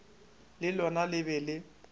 le lona le be le